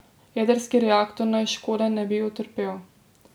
Jedrski reaktor naj škode ne bi utrpel.